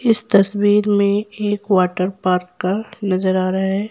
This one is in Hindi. इस तस्वीर में एक वाटर पार्क का नजर आ रहा है।